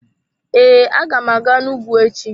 Ee, aga m aga n'ugwu echi.